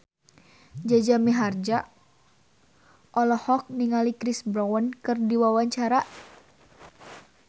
Jaja Mihardja olohok ningali Chris Brown keur diwawancara